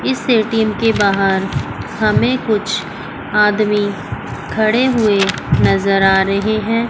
इस ए_टी_एम के बाहर हमें कुछ आदमी खड़े हुए नजर आ रहे हैं।